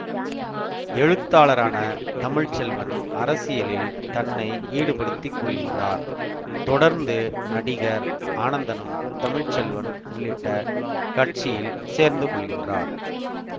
எழுத்தாளரான தமிழ் செல்வன் அரசியலில் தன்னை ஈடுபடுத்திக்கொள்கின்றார் தொடர்ந்து நடிகர் ஆனந்தனும் தமிழ் செல்வன் உள்ளிட்ட கட்சியில் சேர்ந்துகொள்கின்றார்